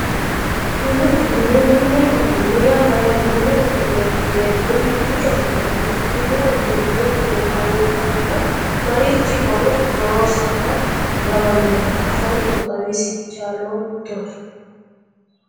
Mini uduunne mini uduunne yaa mayyaate mini uduunneeti yineemmohu hiikkiicho afamannoho mini uduunne yineemmohura marichi horo noonsaha lawannohe afoottoro xawisse chaalattoe